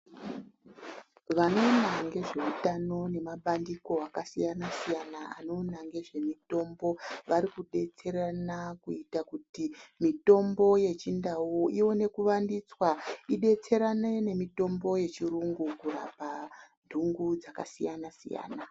Vanoona ngezveutano nemabandiko akasiyanasiyana anoona ngezvemutombo varikudetserana kuita kuti mitombo yechindau iwonekuvandutwsa idetserane nemitombo neyechiyungu kurapa nhungu dzakasiyanasiyana.